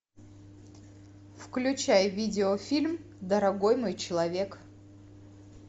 включай видеофильм дорогой мой человек